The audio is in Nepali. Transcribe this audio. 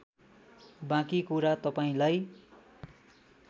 बाँकी कुरा तपाईँलाई